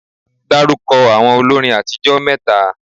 Dárúkọ àwọn olórin àtijó mẹ́ta?